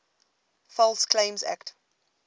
false claims act